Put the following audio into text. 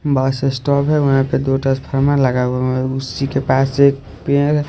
बस स्टॉप है वहां पे दो ट्रांसफार्मर लगा हुआ है उसी के पास एक पेड़ है।